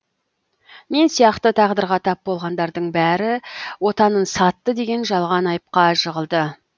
мен сияқты тағдырға тап болғандардың бәрі отанын сатты деген жалған айыпқа жығылды